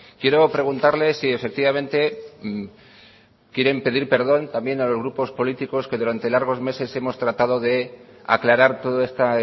quiero preguntarle si efectivamente quieren pedir perdón también a los grupos políticos que durante largos meses hemos tratado de aclarar todo este